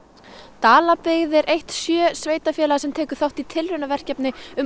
Dalabyggð er eitt sjö sveitarfélaga sem tekur þátt í tilraunaverkefni um